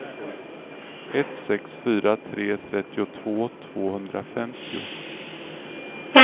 ett sex fyra tre trettiotvå tvåhundrafemtio